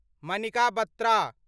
Manika Batra